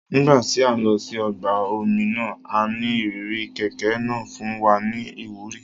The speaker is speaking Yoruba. Nígbà tí a lọ sí ọgbà omi náà,a ní ìrírí kẹ̀kẹ́ igi náà fún wa ní ìwúrí